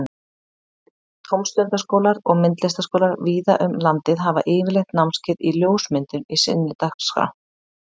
Tómstundaskólar og myndlistaskólar víða um landið hafa yfirleitt námskeið í ljósmyndun í sinni dagskrá.